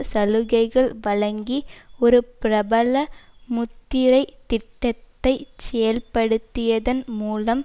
சலுகைகள் வழங்கி ஒரு பிரபல முத்திரை திட்டத்தை செயல்படுத்தியதன் மூலம்